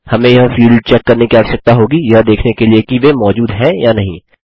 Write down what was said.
हमें यह field check करने की आवश्यकता होगी यह देखने के लिए कि वे मौजूद हैं या नहीं